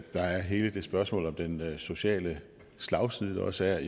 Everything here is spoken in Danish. der er hele spørgsmålet om den sociale slagside der også er